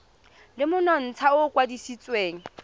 le monontsha o o kwadisitsweng